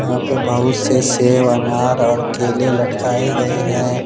वहां पे बहुत सेव अनार और केले लटकाए गए हैं।